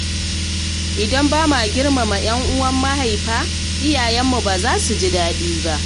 Idan ba ma girmama 'yan uwan mahaifa iyayen mu ba za su ji daɗi ba.